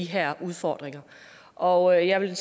her udfordringer og jeg vil